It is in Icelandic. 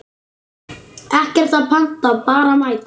Ekkert að panta, bara mæta!